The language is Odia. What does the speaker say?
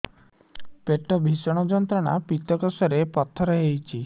ପେଟ ଭୀଷଣ ଯନ୍ତ୍ରଣା ପିତକୋଷ ରେ ପଥର ହେଇଚି